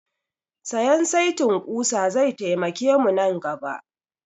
Sayan setin ƙusa zai taimake mu nan gaba